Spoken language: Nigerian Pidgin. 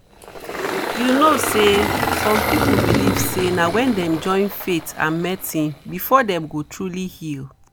you know say some people believe say na wen dem join faith and medicine before dem go truly heal